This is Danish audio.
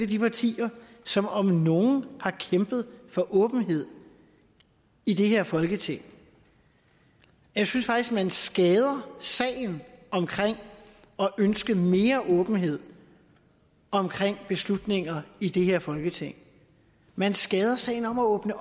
de partier som om nogen har kæmpet for åbenhed i det her folketing jeg synes faktisk at man skader sagen om at ønske mere åbenhed om beslutninger i det her folketing man skader sagen om at åbne